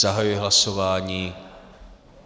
Zahajuji hlasování.